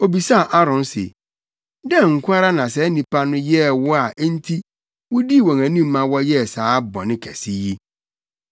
Obisaa Aaron se, “Dɛn nko ara na saa nnipa no yɛɛ wo a enti wudii wɔn anim ma wɔyɛɛ saa bɔne kɛse yi?”